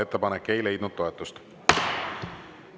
Ettepanek ei leidnud toetust.